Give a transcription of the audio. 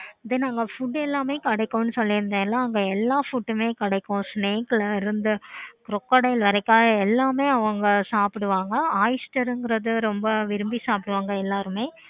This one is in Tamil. then அங்க food எல்லாமே கிடைக்குனு சொல்லி இருந்தேன் இங்க எல்லா food மே கிடைக்கும் crocodile வரைக்கும் எல்லாமே அவங்க சாப்பிடுவாங்க. அப்படிங்கிறது எல்லாருமே ரொம்ப விரும்பி சாப்பிடுவாங்க.